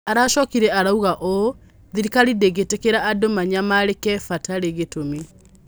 Aracokire arouga ũũ: "Thirikari ndĩngĩtĩkĩra andũ manyamarĩke vatarĩ gĩtũmi".